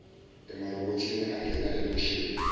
emarobhothini angena elokishini